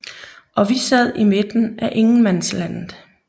Og vi sad i midten af ingenmandslandet